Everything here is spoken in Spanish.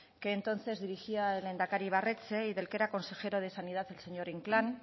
que entonces dirigía el lehendakari ibarretxe y del que era consejero de sanidad el señor inclán